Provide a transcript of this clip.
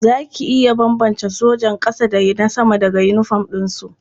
Za ki iya bambance sojan ƙasa da na sama daga yinifom ɗinsu?